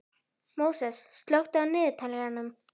Móses, slökktu á niðurteljaranum.